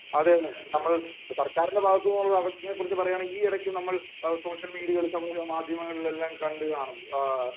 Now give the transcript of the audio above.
അതുതന്നെ നമ്മൾ സർക്കാരിന്റെ ഭാഗത്തുനിന്നുള്ള അവജ്ഞയെ കുറിച്ച് പറയുകയാണെങ്കിൽ ഈയിടക്ക് നമ്മൾ സോഷ്യൽ മീഡിയകളിലും സമൂഹ മാധ്യമങ്ങളിലും എല്ലാം കണ്ടതാണ്